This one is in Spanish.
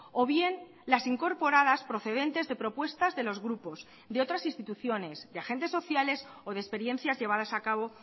o bien las incorporadas procedentes de propuestas de los grupos de otras instituciones de agentes sociales o de experiencias llevadas a cabo